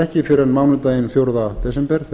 ekki fyrr en mánudaginn fjórða desember